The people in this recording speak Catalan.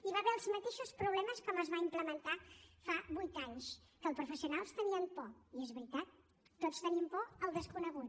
hi va haver els mateixos problemes que quan es va implementar fa vuit anys que els professionals tenien por i és veritat tots tenim por del desconegut